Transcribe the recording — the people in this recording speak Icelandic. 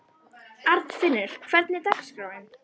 Arnfinnur, hvernig er dagskráin?